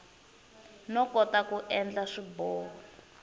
no kota ku endla swiboho